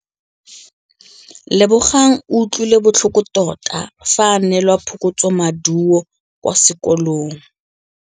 Lebogang o utlwile botlhoko tota fa a neelwa phokotsômaduô kwa sekolong.